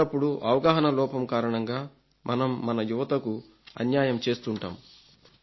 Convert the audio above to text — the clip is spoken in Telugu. అప్పుడప్పుడు అవగాహన లోపం కారణంగా మనం మన యువతకు అన్యాయం చేస్తుంటాం